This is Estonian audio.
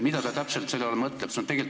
Mida ta täpselt selle all mõtleb?